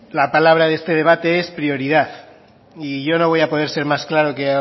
la palabra de este debate es prioridad y yo no voy a poder ser más claro